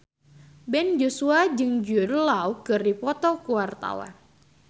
Ben Joshua jeung Jude Law keur dipoto ku wartawan